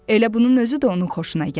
Elə bunun özü də onun xoşuna gəlirdi.